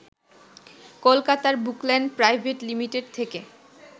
কলকাতার Bookland private limited থেকে